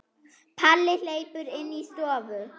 Palli hleypur inn í stofu.